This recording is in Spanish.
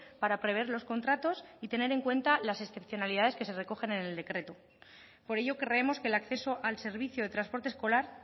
para prever los contratos y tener en cuenta las excepcionalidades que se recogen en el decreto por ello creemos que el acceso al servicio de transporte escolar